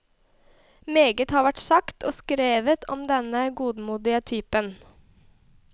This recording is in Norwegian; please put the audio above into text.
Meget har vært sagt og skrevet om denne godmodige typen.